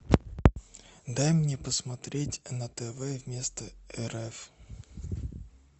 дай мне посмотреть на тв вместо рф